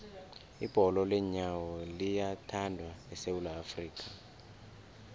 ibholo leenyawo liyathandwa esewula afrika